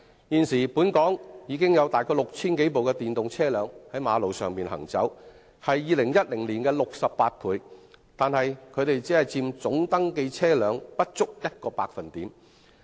現時本港已有大概 6,000 多部電動車輛在道路上行走，是2010年的68倍，但僅佔總登記車輛不足1個百分點。